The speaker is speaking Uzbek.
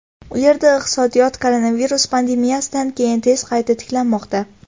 U yerda iqtisodiyot koronavirus pandemiyasidan keyin tez qayta tiklanmoqda.